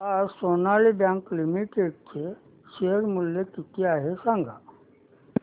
आज Sonali bank limited चे share मूल्य किती आहे सांगा